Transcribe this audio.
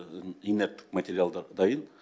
инерттік материалдар дайын